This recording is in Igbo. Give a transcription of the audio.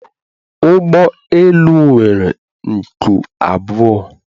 Ụgbọ elu nwere nku abụọ